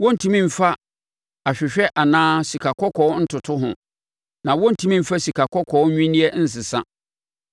Wɔrentumi mfa ahwehwɛ anaa sikakɔkɔɔ ntoto ho, na wɔrentumi mfa sikakɔkɔɔ nnwinneɛ nsesa.